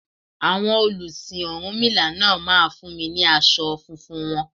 Àwọn olùsìn ọ̀rúnmìlà náà máa fún mi ní aṣọ funfun wọn.